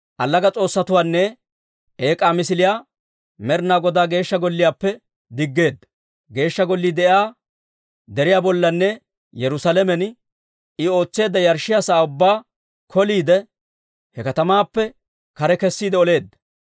Allaga s'oossatuwaanne eek'aa misiliyaa Med'inaa Godaa Geeshsha Golliyaappe diggeedda; Geeshsha Gollii de'iyaa deriyaa bollanne Yerusaalamen I ootseedda yarshshiyaa sa'aa ubbaa koliide, he katamaappe kare kessiide oleedda.